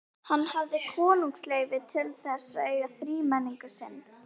Hann hafði konungsleyfi til þess að eiga þrímenning sinn.